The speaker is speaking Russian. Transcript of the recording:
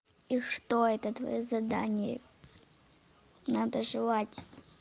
и что это твоё задание надо желать